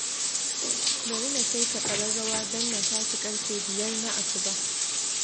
Bari na saita ƙararrawa don na tashi ƙarfe biyar na asuba